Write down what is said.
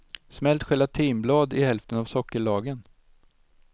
Smält gelatinblad i hälften av sockerlagen.